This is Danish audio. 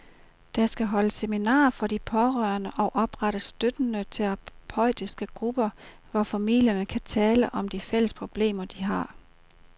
Der skal holdes seminarer for de pårørende og oprettes støttende terapeutiske grupper, hvor familierne kan tale om de fælles problemer, de har.